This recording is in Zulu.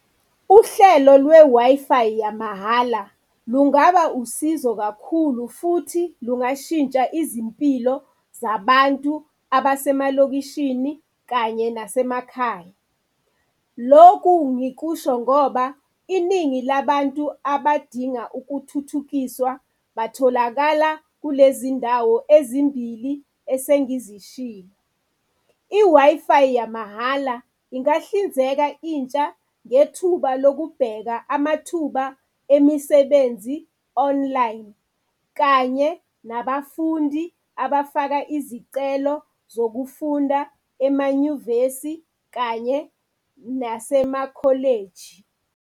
Uhlelo lwe-Wi-Fi yamahhala lungaba usizo kakhulu futhi lungashintsha izimpilo zabantu abasemalokishini kanye nasemakhaya. Loku ngikusho ngoba iningi labantu abadinga ukuthuthukiswa batholakala kulezi ndawo ezimbili esengizishilo. I-Wi-Fi yamahhala ingahlinzeka intsha ngethuba lokubheka amathuba emisebenzi online kanye nabafundi abafaka izicelo zokufunda emanyuvesi kanye nasema-college.